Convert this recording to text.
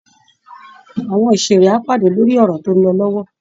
Àwọn òṣèré á pàdé lórí ọ̀rọ̀ tó ń lọ lọ́wọ́